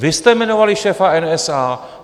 Vy jste jmenovali šéfa NSA.